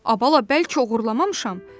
Ay bala, bəlkə oğurlamamışam.